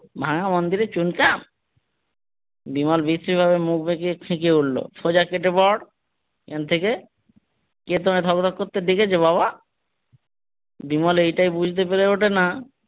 ভাঙা মন্দিরে চুনকাম বিমল বিশ্রী ভাবে মুখ বাঁকিয়ে খেঁকিয়ে উঠলো সোজা কেটে পড়। এখান থেকে কে তোকে ভদ ভদ করতে ডেকেছে বাবা বিমল এটাই বুজতে পেরে উঠেনা।